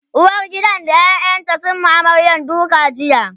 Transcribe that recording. uwargidan da ƴaƴanta sun Yi wa amaryar duka jiya